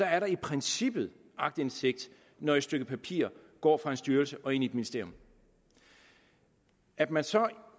er der i princippet aktindsigt når et stykke papir går fra en styrelse og ind i et ministerium at man så